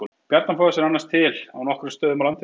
Bjarnafoss er annars til á nokkrum stöðum á landinu.